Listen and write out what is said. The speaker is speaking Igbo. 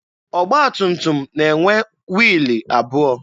Ọgba tum tum na-enwe wiilụ abụọ.